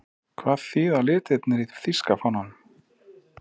Hvað þýða litirnir í þýska fánanum?